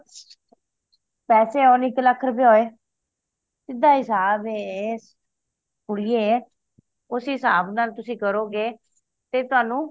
ਪੈਸੇ ਹੋਣ ਇੱਕ ਲੱਖ ਰੁਪਯਾ ਹੋਏ ਸਿੱਧਾ ਹਿਸਾਬ ਐ ਕੁੜੀਏ ਉਸੇ ਹਿਸਾਬ ਨਾਲ ਤੁਸੀ ਕਰੋਗੇ ਤੇ ਤੁਹਾਨੂੰ